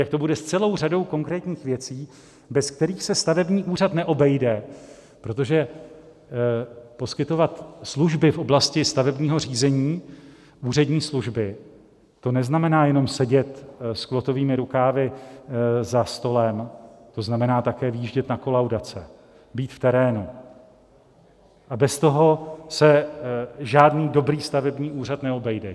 Jak to bude s celou řadou konkrétních věcí, bez kterých se stavební úřad neobejde, protože poskytovat služby v oblasti stavebního řízení, úřední služby, to neznamená jenom sedět s klotovými rukávy za stolem, to znamená také vyjíždět na kolaudace, být v terénu, a bez toho se žádný dobrý stavební úřad neobejde.